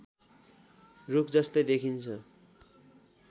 रुखजस्तै देखिन्छ